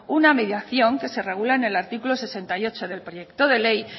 una mediación que se regula en el artículo sesenta y ocho del proyecto de ley